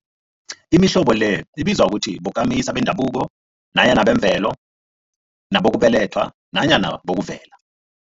Imihlobo le ibizwa ukuthi bokamisa bendabuko nanyana bemvelo, nabokubelethwa nanyana bokuvela.